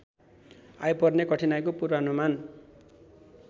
आइपर्ने कठिनाइको पूर्वानुमान